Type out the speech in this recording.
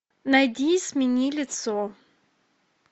найди смени лицо